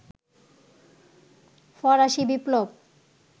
ফরাসি বিপ্লব